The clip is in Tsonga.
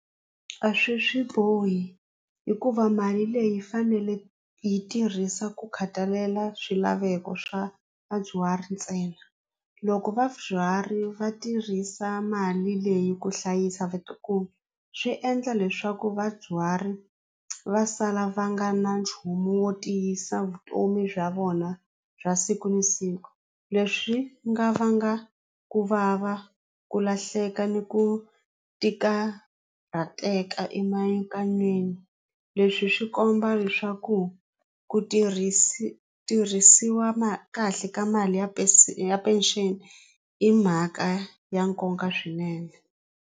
A swi a swi bohi hikuva mali leyi yi fanele yi tirhisa ku khatalela swilaveko swa vadyuhari ntsena loko vadyuhari va tirhisa mali leyi ku hlayisa vatukulu swi endla leswaku vadyuhari va sala va nga na nchumu wo tiyisa vutomi bya vona bya siku na siku leswi nga vanga ku vava ku lahleka ni ku ti karhateka emianakanyweni leswi swi komba leswaku ku tirhisiwa kahle ka mali ya ya pension i mhaka ya nkoka swinene.